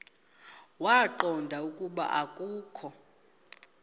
waqonda ukuba akokho